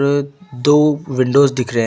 दो विंडोज दिख रहा है।